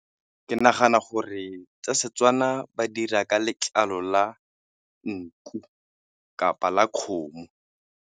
Ke nagana gore tsa Setswana ba di dira ka letlalo la nku kapa la kgomo.